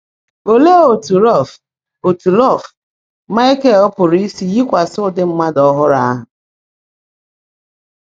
Óleé ótú Rọ́lf ótú Rọ́lf - Máịkẹ̀l pụ́rụ́ ísi yíkwásị́ ụ́dị́ mmádụ́ ọ́hụ́rụ́ áhụ́?